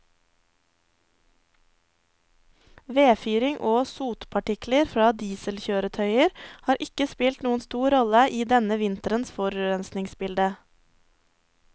Vedfyring og sotpartikler fra dieselkjøretøyer har ikke spilt noen stor rolle i denne vinterens forurensningsbilde.